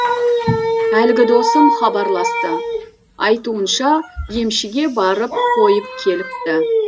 әлгі досым хабарласты айтуынша емшіге барып қойып келіпті